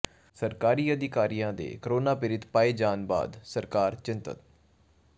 ਸਰਕਾਰੀ ਅਧਿਕਾਰੀਆਂ ਦੇ ਕੋਰੋਨਾ ਪੀੜਤ ਪਾਏ ਜਾਣ ਬਾਅਦ ਸਰਕਾਰ ਚਿੰਤਤ